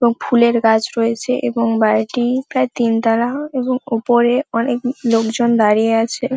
এবং ফুলের গাছ রয়েছে এবং বাড়িটি-ই প্রায় তিনতলা এবং ওপরে অনেক লোকজন দাঁড়িয়ে আছে।